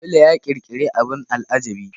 Sule ya ƙirƙiri abin al'ajabi.